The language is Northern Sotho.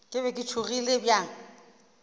ke be ke tšhogile bjang